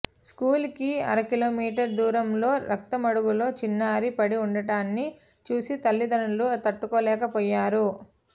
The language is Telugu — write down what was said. స్కూల్ కి అరకిలోమీటరు దూరంలో రక్తమడుగులో చిన్నారి పడి ఉండటాన్ని చూసి తల్లిదండ్రులు తట్టుకోలేకపోయారు